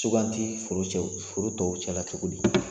Suganti foro tɔw cɛla cogo di